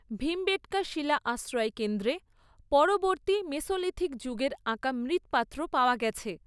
ভীমবেটকা শিলা আশ্রয়কেন্দ্রে পরবর্তী মেসোলিথিক যুগের আঁকা মৃৎপাত্র পাওয়া গেছে।